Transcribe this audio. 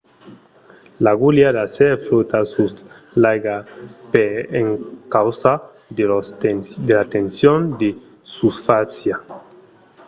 l'agulha d'acièr flòta sus l'aiga per encausa de la tension de susfàcia